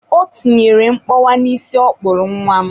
O tinyere mkpọwa n'isi ọ kpụrụ nwa m.